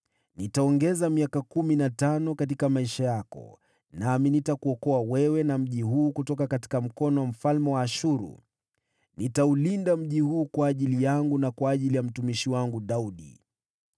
Nitakuongezea miaka kumi na mitano katika maisha yako. Nami nitakuokoa wewe pamoja na mji huu mkononi mwa mfalme wa Ashuru. Nitaulinda mji huu kwa ajili yangu, na kwa ajili ya mtumishi wangu Daudi!’ ”